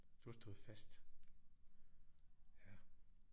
Du har stået fast ja